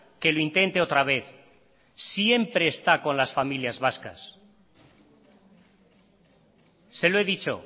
que lo intente otra vez siempre está con las familias vascas se lo he dicho